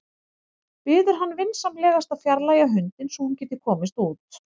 Biður hann vinsamlegast að fjarlægja hundinn svo að hún geti komist út.